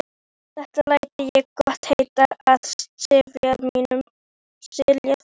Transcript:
Þetta læt ég gott heita af sifjaliði mínu.